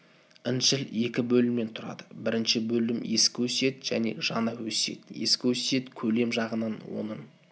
інжіл екі бөлімнен тұрады бірінші бөлім ескі өсиет және жаңа өсиет ескі өсиет көлем жағынан оның